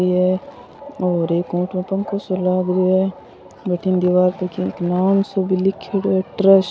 ये और एक कुंट में पंखो सो लाग रियो है बठीने दिवार पे की नाम साे भी लीखेड़ो है ट्रस्ट ।